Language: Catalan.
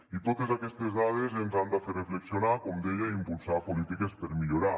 i totes aquestes dades ens han de fer reflexionar com deia i impulsar polítiques per millorar